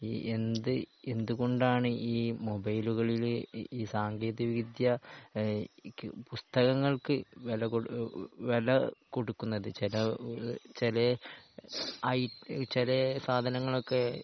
ഈ എന്ത് എന്ത്‌ കൊണ്ടാണ് ഈ മുബൈലുകളിൽ ഈ സാങ്കേന്തിക വിദ്യ ഏഹ് പുസ്‌തകങ്ങൾക്ക് വില കൊടു വില കൊടുക്കുന്നത് ചില ചെലെയ് ഐ ചെലെയ് സാധനങ്ങൾ ഒക്കെ